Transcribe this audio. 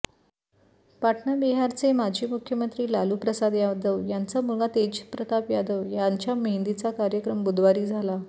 पाटणा बिहारचे माजी मुख्यमंत्री लालूप्रसाद यादव यांचा मुलगा तेजप्रताप यादव यांच्या मेहंदीचा कार्यक्रम बुधवारी झाला